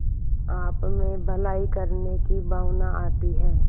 आपमें भलाई करने की भावना आती है